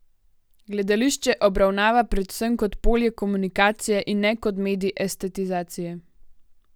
Gledališče obravnava predvsem kot polje komunikacije in ne kot medij estetizacije.